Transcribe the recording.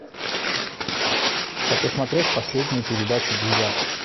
хочу смотреть последнюю передачу дудя